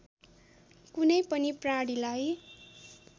कुनै पनि प्राणीलाई